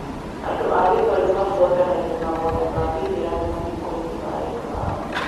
Andũ a Gĩthweri mabuatanagia mahoya ma Gĩithĩramu mathiko-inĩ ma endwa ao.